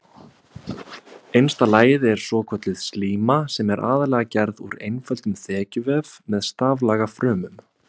Innsta lagið er svokölluð slíma sem er aðallega gerð úr einföldum þekjuvef með staflaga frumum.